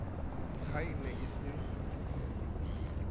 ha e ne e sa